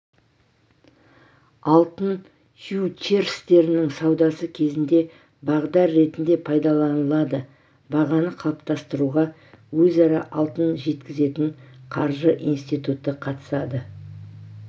алтын фьючерстерінің саудасы кезінде бағдар ретінде пайдаланылады бағаны қалыптастыруға өзара алтын жеткізетін қаржы институты қатысады